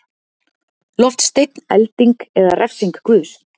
Loftsteinn, elding eða refsing Guðs.